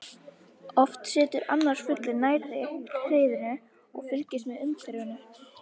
Oft situr annar fuglinn nærri hreiðrinu og fylgist með umhverfinu.